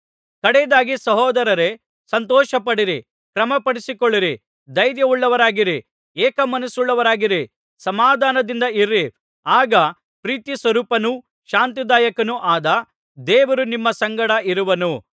ಕಡೆಯದಾಗಿ ಸಹೋದರರೇ ಸಂತೋಷಪಡಿರಿ ಕ್ರಮಪಡಿಸಿಕೊಳ್ಳಿರಿ ಧೈರ್ಯವುಳ್ಳವರಾಗಿರಿ ಏಕ ಮನಸ್ಸುಳ್ಳವರಾಗಿರಿ ಸಮಾಧಾನದಿಂದ ಇರಿ ಆಗ ಪ್ರೀತಿಸ್ವರೂಪನೂ ಶಾಂತಿದಾಯಕನೂ ಆದ ದೇವರು ನಿಮ್ಮ ಸಂಗಡ ಇರುವನು